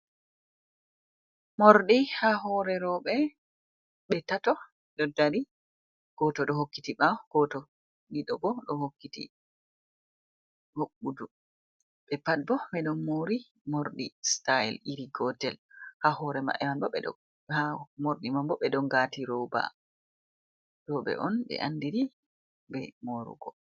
Morɗi ha hore roɓe be tato ɗo dari goto do hokkiti ɓawo, goto ɗiɗo bo ɗo hokkiti hoɓɓudu be pat bo ɓeɗon mari mordi sitail iri gotel ha hore maɓɓe man mordi mambo ɓeɗo ngati roba roɓe on be andiri be morugo.